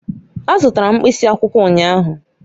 Azụtara m mkpịsị akwụkwọ ụnyahụ